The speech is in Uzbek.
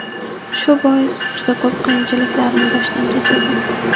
Shu bois, juda ko‘p qiyinchiliklarni boshdan kechirdim.